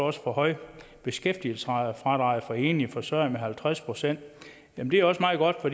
at forhøje beskæftigelsesfradraget for enlige forsørgere med halvtreds procent det er også meget godt for